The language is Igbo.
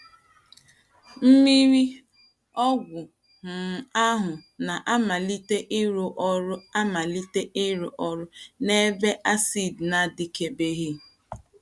Mmírí ọgwụ um ahụ na - amalite ịrụ ọrụ amalite ịrụ ọrụ n’ebe a àsịdị na - adịkebeghị.